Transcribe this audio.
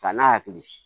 Ka n'a hakili